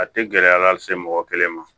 A tɛ gɛlɛya lase mɔgɔ kelen ma